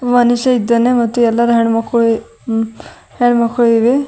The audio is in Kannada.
ಮನುಷ್ಯ ಇದ್ದಾನೆ ಮತ್ತು ಎಲ್ಲರು ಹೆಣ್ಣುಮಕ್ಕಳು ಉಮ್ ಹೆಣ್ ಮಕ್ಕಳು ಇವೆ.